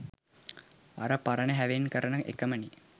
අර පරණ හැවෙන් කරන එකමනෙ.